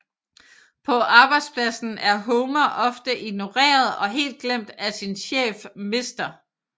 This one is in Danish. På arbejdspladsen er Homer ofte ignoreret og helt glemt af sin chef Mr